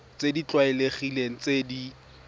tse di tlwaelegileng tse di